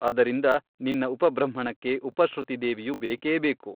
ಅದರಿಂದ ನಿನ್ನ ಉಪಬೃಂಹಣಕ್ಕೆ ಉಪಶ್ರುತಿ ದೇವಿಯು ಬೇಕೇಬೇಕು.